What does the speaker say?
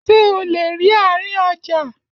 Ṣé o lè rí àárín ọjà?